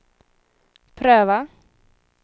pröva